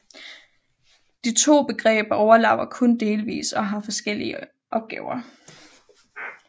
De to begreber overlapper kun delvis og har forskellige opgaver